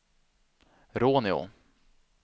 Råneå